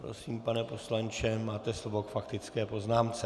Prosím, pane poslanče, máte slovo k faktické poznámce.